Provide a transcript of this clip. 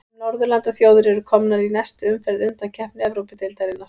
Fimm norðurlandaþjóðir eru komnar í næstu umferð undankeppni Evrópudeildarinnar.